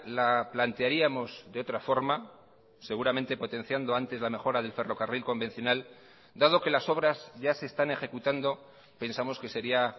la plantearíamos de otra forma seguramente potenciando antes la mejora del ferrocarril convencional dado que las obras ya se están ejecutando pensamos que sería